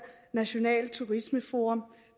nationalt turismeforum